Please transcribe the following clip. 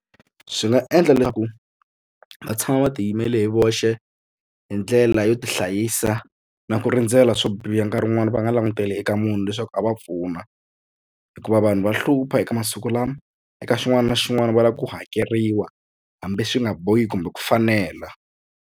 Swi nga endla swa ku va tshama va tiyimela hi voxe hi ndlela yo tihlayisa na ku rindzela swo biha nkarhi wun'wani va nga languteli eka munhu leswaku a va pfuna hikuva vanhu va hlupha eka masiku lama eka xin'wana na xin'wana va lava ku hakeriwa hambi swi nga bohi kumbe ku fanela.